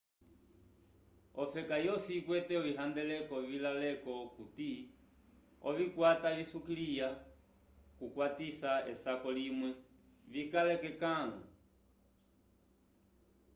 ofeka yosi ikwete ovihandeleko vilaleko okuti ovikwata visukiliya kukwatisa esako limwe vikale k'ekãlu